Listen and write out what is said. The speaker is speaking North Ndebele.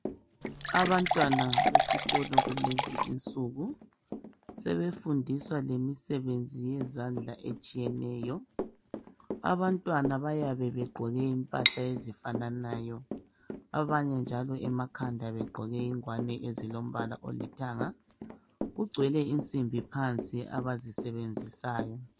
Abantwana besikolo kulezinsuku sebefundiswa lemisebenzini yezandla etshiyeneyo abantwana bayabe begqoke impahla ezifananayo abanye njalo emakhanda begqoke ingwane ezilombala olithanga, kugcwele insimbi phansi abazisebenzisayo.